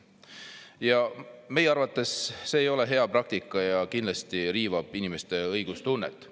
Ja meie arvates see ei ole hea praktika ja kindlasti riivab inimeste õiglustunnet.